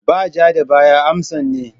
Ba ja da baya amsan ne.